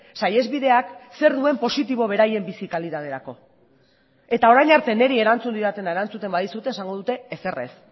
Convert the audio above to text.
saihesbideak zer duen positibo beraien bizi kalitaterako eta orain arte niri erantzun didatena erantzuten badizute esango dute ezer ez